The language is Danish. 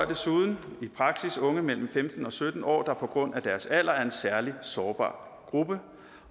desuden i praksis berører unge mellem femten og sytten år der på grund af deres alder er en særlig sårbar gruppe